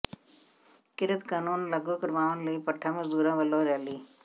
ਕਿਰਤ ਕਾਨੂੰਨ ਲਾਗੂ ਕਰਵਾਉਣ ਲਈ ਭੱਠਾ ਮਜ਼ਦੂਰਾਂ ਵੱਲੋਂ ਰੈਲੀ